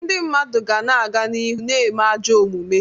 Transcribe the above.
Ndị mmadụ ga na-aga n'ihu na-eme ajọ omume.